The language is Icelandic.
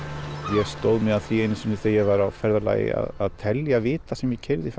ég stóð mig að því einu sinni þegar ég var á ferðalagi að telja vita sem ég keyrði